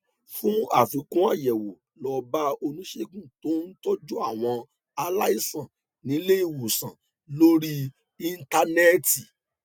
fún àfikún àyẹwò lọ bá oníṣègùn tó ń tọjú àwọn aláìsàn nílé ìwòsàn lórí íńtánẹẹtì